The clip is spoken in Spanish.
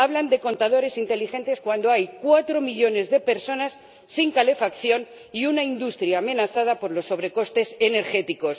Hablan de contadores inteligentes cuando hay cuatro millones de personas sin calefacción y una industria amenazada por los sobrecostes energéticos.